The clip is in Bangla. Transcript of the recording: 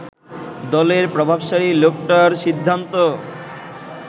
দলের প্রভাবশালী লোকটার সিদ্ধান্ত